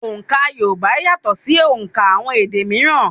Òǹkà Yorùbá yàtọ̀ ṣì òùnkà àwọn èdè míírán.